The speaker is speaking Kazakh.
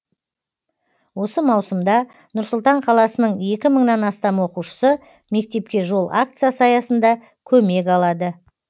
осы маусымда нұр сұлтан қаласының екі мыңнан астам оқушысы мектепке жол акциясы аясында көмек алады